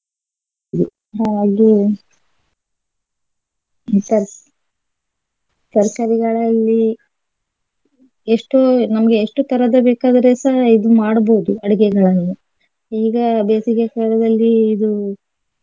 ಹಾಗೆ ತರ್ಕಾ~ ತರ್ಕಾರಿಗಳಲ್ಲಿ ಎಷ್ಟೋ ನಮ್ಗೆ ಎಷ್ಟೋ ತರದ ಬೇಕಾದ್ರೆ ಸಹ ಇದು ಮಾಡ್ಬೋದು ಅಡುಗೆಗಳನ್ನು ಈಗ ಬೇಸಿಗೆ ಕಾಲದಲ್ಲಿ ಇದು.